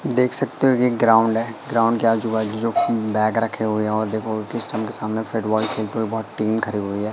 देख सकते हो कि एक ग्राउंड है ग्राउंड के आजू-बाजू जो बैग रखे हुए है और देखोगे कि स्टाम्प के सामने फुटबॉल खेलते हुए बहोत टीम खड़ी हुई है।